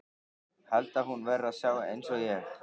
Held að hún verði að sjá einsog ég.